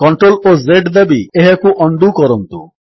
CTRL ଓ Z ଦାବି ଏହାକୁ ଉଣ୍ଡୋ କରନ୍ତୁ